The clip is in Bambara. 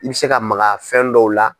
I bɛ se ka maga fɛn dɔw la.